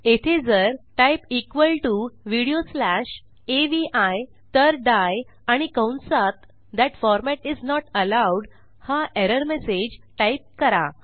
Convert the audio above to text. येथे जर type equal to video slash AVI तर डाई आणि कंसात that format is not allowed हा एरर मेसेज टाईप करा